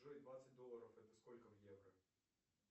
джой двадцать долларов это сколько в евро